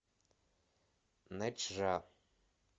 нэчжа